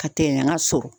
Ka tɛn ka so